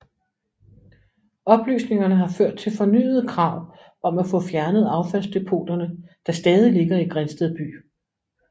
Oplysningerne har ført til fornyede krav om at få fjernet affaldsdepoterne der stadig ligger i Grindsted by